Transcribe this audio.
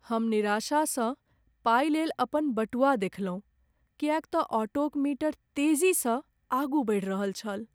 हम निराशासँ पाइ लेल अपन बटुआ देखलहुँ किएक तऽ ऑटोक मीटर तेजीसँ आगू बढ़ि रहल छल।